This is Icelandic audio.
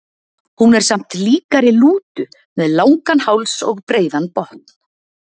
Hún er samt líkari lútu, með langan háls og breiðan botn.